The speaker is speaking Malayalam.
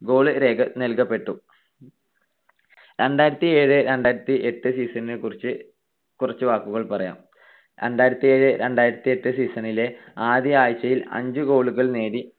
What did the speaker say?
goal നൽകപ്പെട്ടു. ` രണ്ടായിരത്തിഏഴ് - രണ്ടായിരത്തിയെട്ട് season നെ കുറിച്ച് കുറച്ചു വാക്കുകൾ പറയാം. രണ്ടായിരത്തിഏഴ് - രണ്ടായിരത്തിയെട്ട് season ലെ ആദ്യ ആഴ്ചയിൽ അഞ്ച് goal കൾ നേടി.